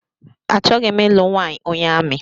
Achọghị m ịlụ nwanyị onye amị